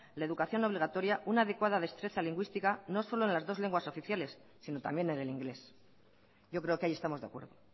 la educación obligatoria una adecuada destreza lingüística no solo en las dos lenguas oficiales sino también en el inglés yo creo que ahí estamos de acuerdo